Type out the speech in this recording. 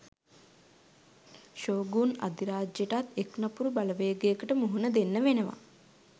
shogun අධිරාජයටත් එක් නපුරු බලවේගයකට මුහුණ දෙන්න වෙනවා